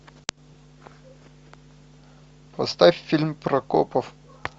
поставь фильм про копов